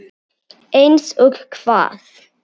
Eins og hvað?